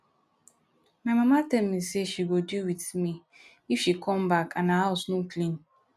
my mama tell me say she go deal with me if she come back and her house no clean